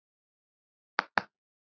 Já, svona var þetta bara.